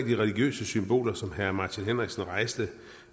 de religiøse symboler som herre martin henriksen rejste